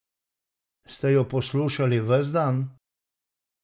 Ste jo poslušali ves dan?